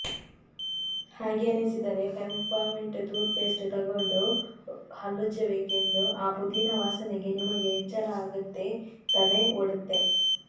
ಹಾಗೇನಿಸಿದರೆ peppermint toothpaste ತೊಗೊಂಡು ಹಲ್ಲುಜ್ಜಿಬೇಕು ಆ ಪುದೀನ ವಾಸನೆಗೆ ನಿಮಗೆ ಎಚ್ಚರ ಅಗತ್ತೆ ತಲೆ ಒಡತ್ತೆ